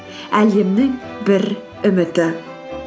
әлемнің бір үміті